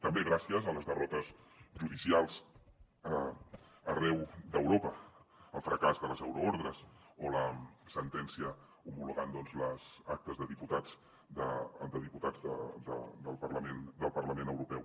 també gràcies a les derrotes judicials arreu d’europa al fracàs de les euroordres o la sentència homologant les actes de diputats del parlament europeu